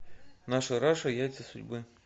наша раша яйца судьбы